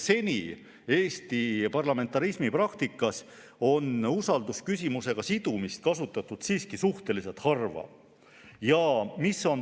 Seni on Eesti parlamentarismi praktikas usaldusküsimusega sidumist kasutatud siiski suhteliselt harva.